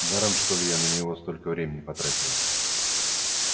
даром что ли я на него столько времени потратила